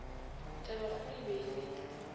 tabakgolo e be e le